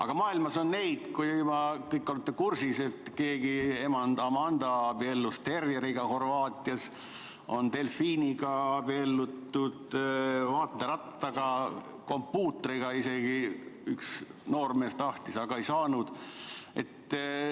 Aga maailmas, te kõik olete kursis, et keegi emand Amanda abiellus Horvaatias terjeriga, on delfiiniga abiellutud, vaaterattaga, üks noormees tahtis abielluda isegi kompuutriga, aga ei saanud.